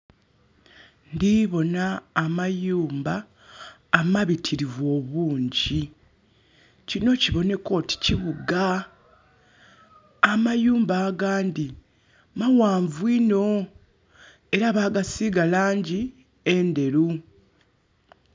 Ndhi bona amayumba amabitirivu obungi. Kino kiboneka oti kibuga. Amayumba agandhi maghanvu inho, era bagasiiga langi endheru.